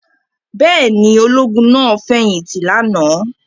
Bẹ́ẹ̀ ni, ológun náà fẹ̀yìntì lánàá.